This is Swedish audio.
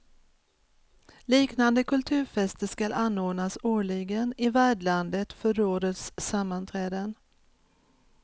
Liknande kulturfester skall anordnas årligen i värdlandet för rådets sammanträden.